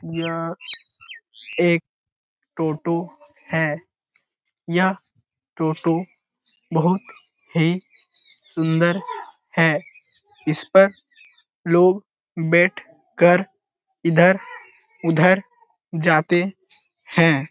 यह एक टोटो है। यह टोटो बहुत ही सुंदर है। इस पर लोग बैठ कर इधर उधर जाते हैं।